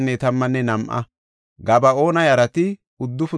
Nam7antho Nabon de7iya asay 52;